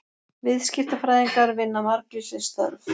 viðskiptafræðingar vinna margvísleg störf